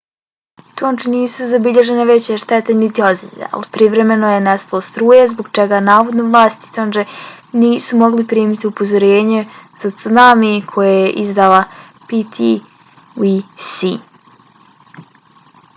u tongi nisu zabilježene veće štete niti ozljede ali privremeno je nestalo struje zbog čega navodno vlasti tonge nisu mogle primiti upozorenje za cunami koje je izdala ptwc